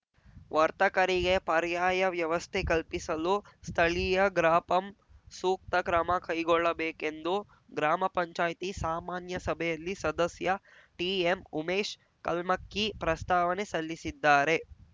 ವರ್ತಕರಿಗೆ ಪರ್ಯಾಯ ವ್ಯವಸ್ಥೆ ಕಲ್ಪಿಸಲು ಸ್ಥಳೀಯ ಗ್ರಾಪಂ ಸೂಕ್ತ ಕ್ರಮ ಕೈಗೊಳ್ಳಬೇಕೆಂದು ಗ್ರಾಮ ಪಂಚಾಯಿತಿ ಸಾಮಾನ್ಯ ಸಭೆಯಲ್ಲಿ ಸದಸ್ಯ ಟಿಎಂ ಉಮೇಶ್‌ ಕಲ್ಮಕ್ಕಿ ಪ್ರಸ್ತಾವನೆ ಸಲ್ಲಿಸಿದ್ದಾರೆ